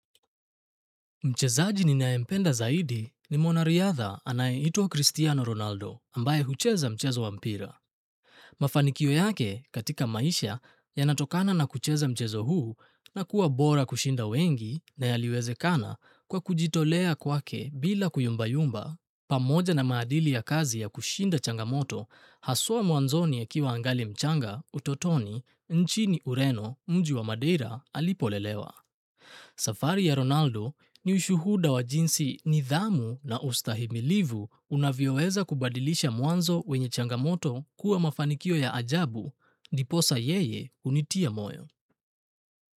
Mchezaji ninayempenda zaidi ni mwanariadha anayeitwa Cristiano Ronaldo ambaye hucheza mchezo wa mpira. Mafanikio yake katika maisha yanatokana na kucheza mchezo huu na kuwa bora kushinda wengi na yaliwezekana kwa kujitolea kwake bila kuyumbayumba. Pamoja na maadili ya kazi ya kushinda changamoto haswa mwanzoni akiwa angali mchanga utotoni nchini ureno mji wa Madeira alipolelewa. Safari ya Ronaldo ni ushuhuda wa jinsi nidhamu na ustahimilivu unavyoweza kubadilisha mwanzo wenye changamoto kuwa mafanikio ya ajabu ndiposa yeye hunitia moyo.